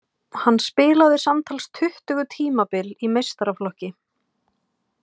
Hann spilaði samtals tuttugu tímabil í meistaraflokki.